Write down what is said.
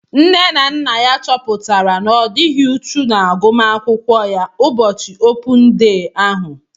Nne na nna ya chọpụtara na odighi uchu na agụmakwụkwọ ya ụbọchị opun dee ahu